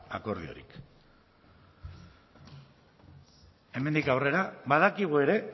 akordiorik hemendik aurrera badakigu ere